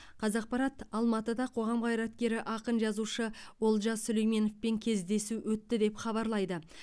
қазақпарат алматыда қоғам қайраткері ақын жазушы олжас сүлейменовпен кездесу өтті деп хабарлайды